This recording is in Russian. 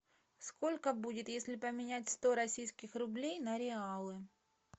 сколько будет если поменять сто российских рублей на реалы